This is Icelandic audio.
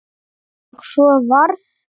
Og svo varð.